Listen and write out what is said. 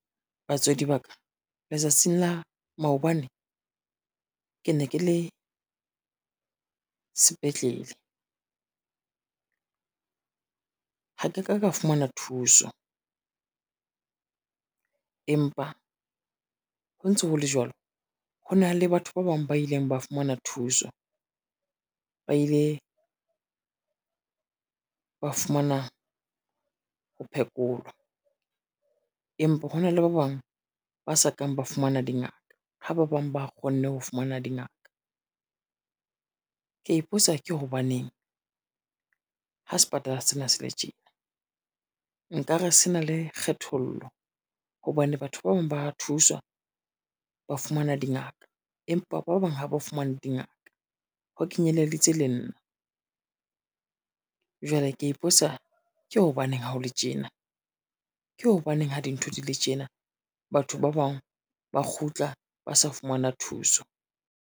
Batswadi ba ka letsatsing la maobane ke ne ke le sepetlele, ha ke ka ka fumana thuso. Empa ho ntso ho le jwalo, ho na le batho ba bang ba ileng ba fumana thuso, ba ile ba fumana ho phekolwa. Empa hona le ba bang ba sa kang ba fumana dingaka, ha ba bang ba kgonne ho fumana dingaka, ke a ipotsa ke hobaneng ha sepatala sena se le tjena nkare se na le kgethollo, hobane batho ba bang ba thuswa ba fumana dingaka, empa ba bang ha ba fumane dingaka ho kenyeleditse le nna. Jwale ke ya ipotsa ke hobaneng ha o le tjena? Ke hobaneng ha dintho di le tjena? Batho ba bang ba kgutla ba sa fumana thuso.